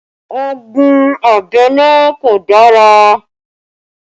Ogun abẹ́lé kò dára